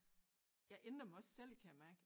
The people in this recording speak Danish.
Jeg ændrer mig også selv kan jeg mærke